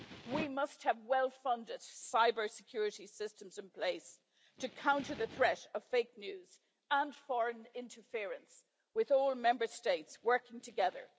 We must have well-funded cybersecurity systems in place to counter the threat of fake news and foreign interference, with all Member States working together.